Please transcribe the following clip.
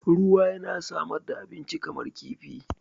Ruwa yana samar da abinci kamar kifi.